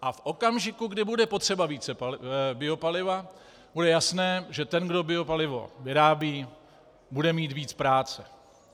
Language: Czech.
A v okamžiku, kdy bude potřeba více biopaliva, bude jasné, že ten, kdo biopalivo vyrábí, bude mít víc práce.